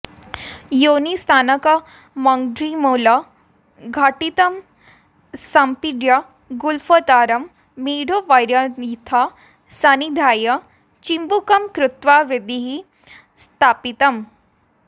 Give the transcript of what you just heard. योनिस्थानकमङ्घ्रिमूलघटितं सम्पीड्य गुल्फेतरं मेढ्रोपर्यथ संनिधाय चिबुकं कृत्वा हृदि स्थापितम्